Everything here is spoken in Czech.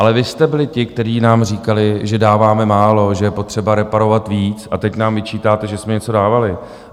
Ale vy jste byli ti, kteří nám říkali, že dáváme málo, že je potřeba reparovat víc, a teď nám vyčítáte, že jsme něco dávali.